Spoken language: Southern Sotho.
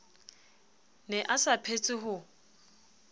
ne a sa phetse ho